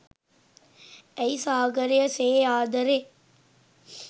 ඇයි සාගරය සේ ආදරේ